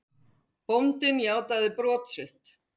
Bóndinn játaði brot sitt.